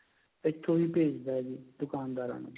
ਇੱਥੋ ਵੀ ਭੇਜਦਾ ਹੈ ਜੀ ਦੁਕਾਨਦਾਰਾ ਨੂੰ